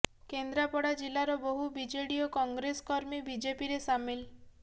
କେନ୍ଦ୍ରାପଡ଼ା ଜିଲ୍ଲାର ବହୁ ବିଜେଡି ଓ କଂଗ୍ରେସ କର୍ମୀ ବିଜେପିରେ ସାମିଲ୍